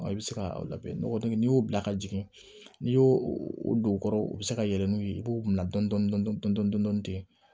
I bɛ se ka labɛn nɔgɔ digɛn n'i y'o bila ka jigin n'i y'o o don kɔrɔ u bɛ se ka yɛlɛ n'u ye i b'u bila dɔɔnin dɔɔnin ten